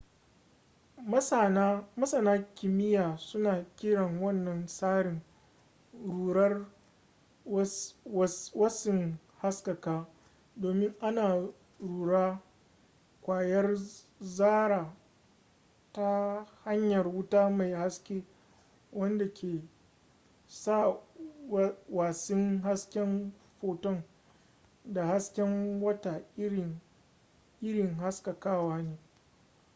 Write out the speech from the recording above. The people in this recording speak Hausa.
masana kimiyya suna kiran wannan tsarin rurar watsin haskaka domin ana rura ƙwayar zarra ta hanyar wuta mai haske wanda ke sa watsin hasken foton da haske wata iri haskakawa ne